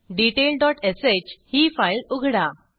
detail dot sh ही file उघडा